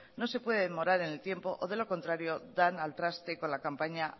no se puede demorar en el tiempo o de lo contrario dan al traste con la campaña